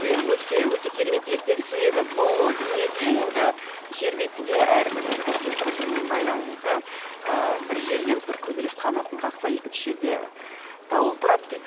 өте өте керемет ертегі себебі бұл дүниеде енді жер бетінде әрбір процесс бір бірімен байланысты ыыы бір жерде бір көбелек қанатын қақса екінші жерде дауыл тұрады дейді